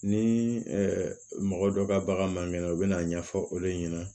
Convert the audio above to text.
Ni mɔgɔ dɔ ka bagan man kɛnɛ u bɛna ɲɛfɔ olu ɲɛna